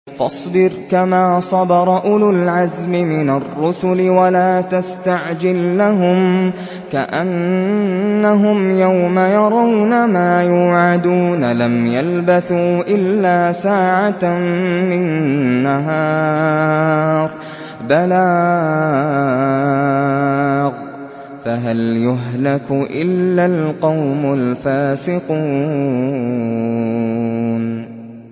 فَاصْبِرْ كَمَا صَبَرَ أُولُو الْعَزْمِ مِنَ الرُّسُلِ وَلَا تَسْتَعْجِل لَّهُمْ ۚ كَأَنَّهُمْ يَوْمَ يَرَوْنَ مَا يُوعَدُونَ لَمْ يَلْبَثُوا إِلَّا سَاعَةً مِّن نَّهَارٍ ۚ بَلَاغٌ ۚ فَهَلْ يُهْلَكُ إِلَّا الْقَوْمُ الْفَاسِقُونَ